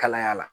Kalaya la